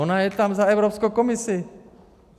Ona je tam za Evropskou komisi.